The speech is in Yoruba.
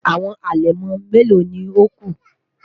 Awọn alẹmọ melo ni o ku?